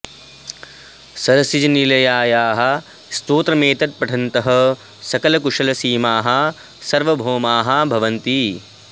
सरसिज निलयायाः स्तोत्रमेतत् पठन्तः सकल कुशल सीमाः सार्वभौमा भवन्ति